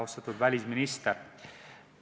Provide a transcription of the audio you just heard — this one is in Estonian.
Austatud välisminister!